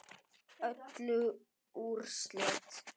Öll úrslit